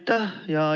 Aitäh!